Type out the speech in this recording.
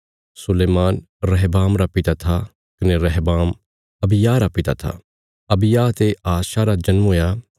सुलैमान रहबाम रा पिता था कने रहबाम अबिय्याह रा पिता था अबिय्याह ते आशा रा जन्म हुया